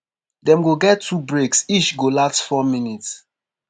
dem go get two breaks each go last four minutes.